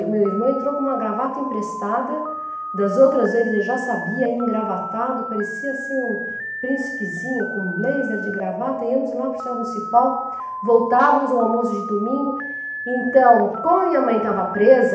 o meu irmão entrou com uma gravata emprestada, das outras vezes ele já sabia, engravatado, parecia assim um príncipezinho com um blazer de gravata, íamos lá para o estado municipal, voltávamos ao almoço de domingo, então, como minha mãe estava presa,